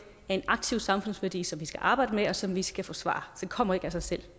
er en aktiv samfundsværdi som vi skal arbejde med og som vi skal forsvare det kommer ikke af sig selv